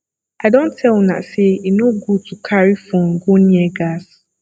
i don tell una say e no good to carry phone go near gas